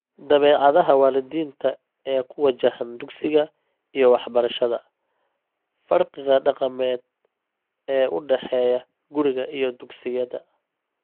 Dabeecadaha waalidiinta ee ku wajahan dugsiga iyo waxbarashada, farqiga dhaqameed ee u dhexeeya guriga iyo dugsiyada.